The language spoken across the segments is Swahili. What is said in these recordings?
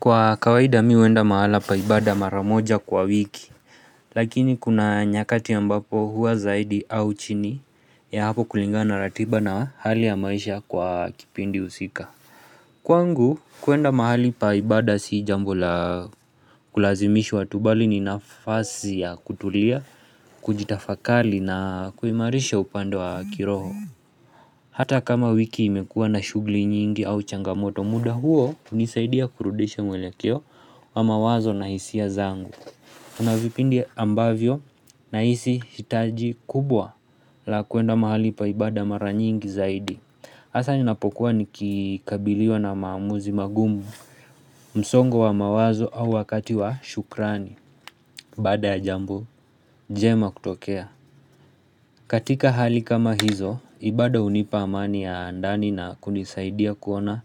Kwa kawaida mimi huenda mahala pa ibada mara moja kwa wiki. Lakini kuna nyakati ambapo huwa zaidi au chini ya hapo kulingana ratiba na hali ya maisha kwa kipindi usika. Kwangu kuenda mahali pa ibada sijambo la kulazimishwa tu bali ni nafasi ya kutulia, kujitafakali na kuimarisha upande wa kiroho. Hata kama wiki imekuwa na shughuli nyingi au changamoto muda huo hunisaidia kurudisha mwelekeo wa mawazo na hisia zangu. Kunavipindi ambavyo nahisi hitaji kubwa la kuenda mahali pa ibaada mara nyingi zaidi. Hasa ninapokuwa nikikabiliwa na maamuzi magumu msongo wa mawazo au wakati wa shukrani. Baada ya jambo, njema kutokea. Katika hali kama hizo, ibada hunipa amani ya ndani na kunisaidia kuona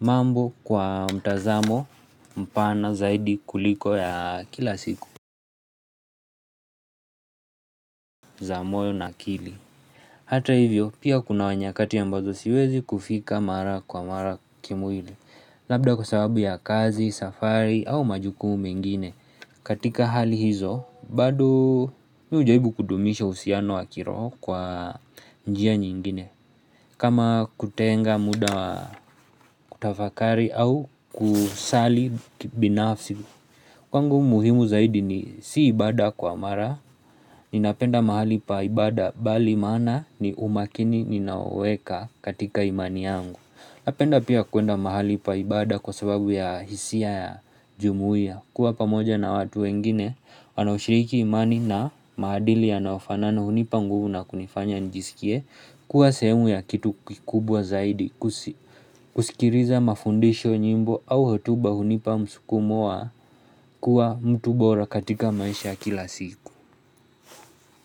mambo kwa mtazamo mpana zaidi kuliko ya kila siku. Za moyo na akili. Hata hivyo, pia kuna nyakati ambazo siwezi kufika mara mara kwa mara kimwili. Labda kwa sababu ya kazi, safari au majukumu mengine. Katika hali hizo, bado mimi hujaribu kudumisha uhusiano wa kiroho kwa njia nyingine. Kama kutenga muda wa kutafakari au kusali kibinafsi. Kwangu muhimu zaidi ni siibada kwa mara Ninapenda mahali pa ibada bali maana ni umakini ninao weka katika imani yangu. Napenda pia kuenda mahali pa ibada kwa sababu ya hisia ya jumuia. Kwa pamoja na watu wengine wanaoshiriki imani na maadili yanayofanana na hunipa nguvu na kunifanya nijisikie kuwa sehemu ya kitu kikubwa zaidi. Kusikiliza mafundisho nyimbo au hutuba hunipa msukumo wa kuwa mtu bora katika maisha ya kila siku.